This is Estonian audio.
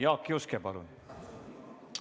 Jaak Juske, palun!